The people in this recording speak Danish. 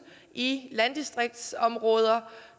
i landdistriktsområder